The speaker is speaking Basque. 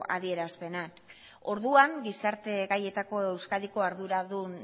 adierazpenak orduan gizarte gaietako euskadiko arduradun